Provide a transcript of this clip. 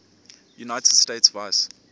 united states vice